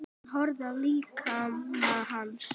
Hún horfði á líkama hans.